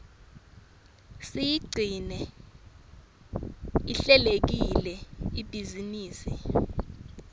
siyigcine ihlelekile ibhizinisi